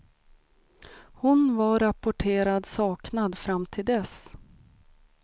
Hon var rapporterad saknad fram till dess.